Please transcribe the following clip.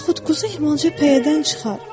Yaxud quzu Hirmanja pəyədən çıxar.